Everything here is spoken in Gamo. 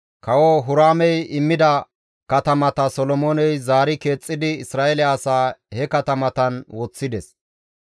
Kawo Huraamey immida katamata Solomooney zaari keexxidi Isra7eele asaa he katamatan woththides.